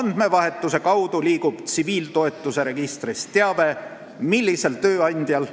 Andmevahetuse kaudu liigub teave selle kohta, millisel tööandjal